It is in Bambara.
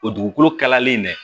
O dugukolo kalalen dɛ